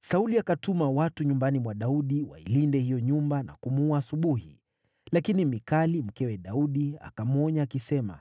Sauli akatuma watu nyumbani mwa Daudi wailinde hiyo nyumba na kumuua asubuhi. Lakini Mikali, mkewe Daudi, akamwonya akisema,